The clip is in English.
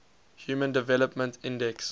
human development index